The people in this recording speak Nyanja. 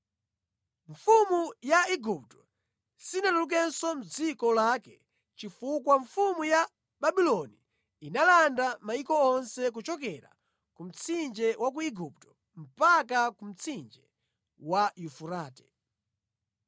Mfumu ya Igupto sinatulukenso mʼdziko lake chifukwa mfumu ya Babuloni inalanda mayiko onse kuchokera ku Mtsinje wa ku Igupto mpaka ku Mtsinje wa Yufurate.